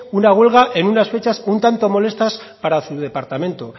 una huelga en unas fechas un tanto molestas para su departamento